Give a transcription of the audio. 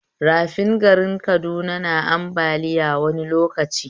Rafin garin Kaduna yana ambaliya wani lokaci